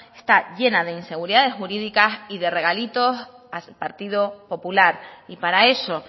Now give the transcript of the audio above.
está llena de inseguridades jurídicas y de regalitos al partido popular y para eso